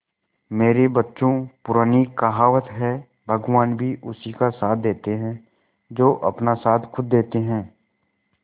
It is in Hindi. मेरे बच्चों पुरानी कहावत है भगवान भी उसी का साथ देते है जो अपना साथ खुद देते है